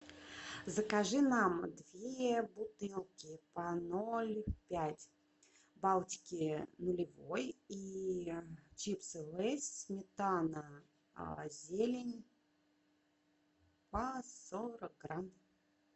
закажи нам две бутылки по ноль пять балтики нулевой и чипсы лейс сметана зелень по сорок грамм